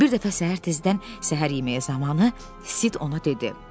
Bir dəfə səhər tezdən səhər yeməyi zamanı Sid ona dedi: